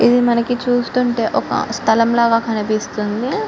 ఇది మానకి చూస్తుంటే ఒక స్థలం లాగా కనిపిస్తుంది.